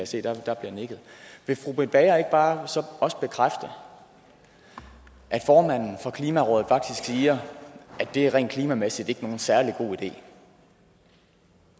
se for der bliver nikket vil fru britt bager så ikke bare også bekræfte at formanden for klimarådet faktisk siger at det rent klimamæssigt ikke er nogen særlig god idé